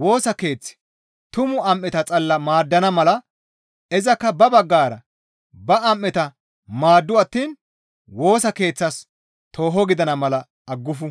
Woosa Keeththi tumu am7eta xalla maaddana mala izakka ba baggara ba am7eta maaddu attiin Woosa Keeththas tooho gidana mala aggufu.